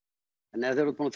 en þegar þú